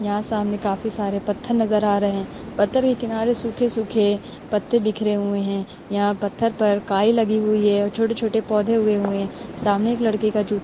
यहाँ सामने काफी सारे पत्थर नजर आ रहे। पत्थर के किनारे काफी सूखे-सूखे पत्ते बिखरे हुए है। यहाँ पत्थर पर काई लगी हुई है और छोटे-छोटे पौधे उगे हुए है। सामने एक लड़के का जू --